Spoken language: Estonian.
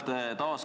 Aitäh!